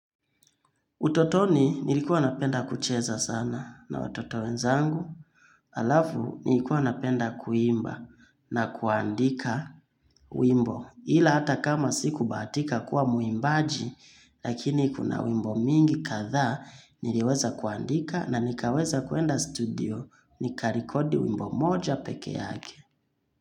Utotoni nilikuwa napenda kucheza sana na watoto wenzangu alafu nilikuwa napenda kuimba na kuandika wimbo. Ila hata kama sikubahatika kuwa mwimbaji lakini kuna wimbo mingi kadhaa niliweza kuandika na nikaweza kuenda studio nika recordi wimbo moja peke yake.